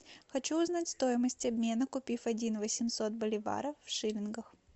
хочу узнать стоимость обмена купив один восемьсот боливаров в шиллингах